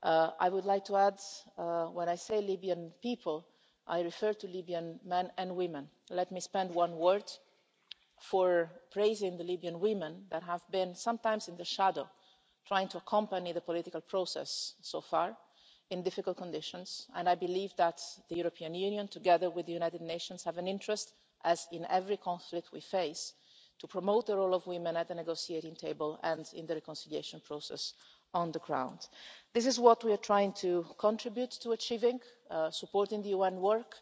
I would like to add that when I say Libyan people, I refer to Libyan men and women. Let me take a moment to praise the Libyan women that have been sometimes in the shadow trying to accompany the political process, so far, in difficult conditions and I believe that the European Union, together with the United Nations, has an interest, as in every conflict we face, in promoting the role of women at the negotiating table and in the reconciliation process on the ground. This is what we are trying to contribute to achieving, supporting the UN